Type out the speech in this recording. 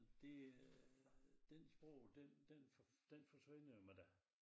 Det øh den sprog den den for den forsvinder jo med dig